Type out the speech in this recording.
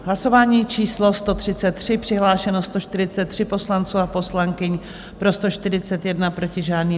Hlasování číslo 133, přihlášeno 143 poslanců a poslankyň, pro 141, proti žádný.